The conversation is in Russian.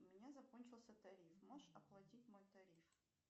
у меня закончился тариф можешь оплатить мой тариф